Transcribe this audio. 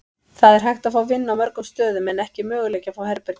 Það er hægt að fá vinnu á mörgum stöðum en ekki möguleiki að fá herbergi.